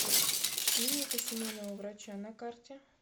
клиника семейного врача на карте